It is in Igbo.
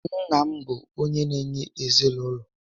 Nna bụ onyé na-enye ezinaụlọ